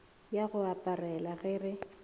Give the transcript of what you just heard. ya go aparela ge re